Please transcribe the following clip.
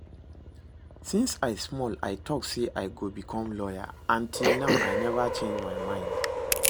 Since I small I dey talk say I go become lawyer, and till now I never change my mind